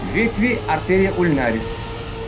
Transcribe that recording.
ветви артерия ульнарис